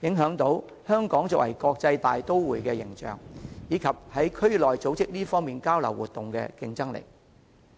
也影響香港作為國際大都會的形象，以及於區內組織這類交流活動的競爭力。